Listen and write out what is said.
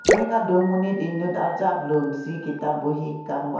rek adung amonit inut arjap lun si kitap buhi kangvai.